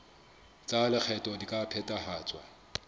tsa lekgetho di ka phethahatswa